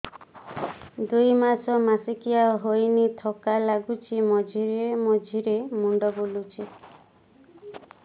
ଦୁଇ ମାସ ମାସିକିଆ ହେଇନି ଥକା ଲାଗୁଚି ମଝିରେ ମଝିରେ ମୁଣ୍ଡ ବୁଲୁଛି